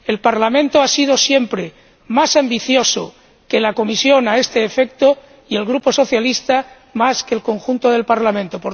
El Parlamento ha sido siempre más ambicioso que la Comisión a este efecto, y el Grupo Socialista, más que el conjunto del Parlamento.